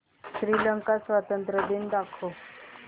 श्रीलंका स्वातंत्र्य दिन दाखव